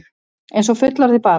Einsog fullorðið barn.